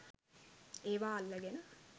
ඒවා අල්ලගෙන